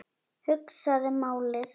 Hugsaði málið.